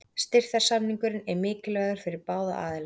Styrktarsamningurinn er mikilvægur fyrir báða aðila.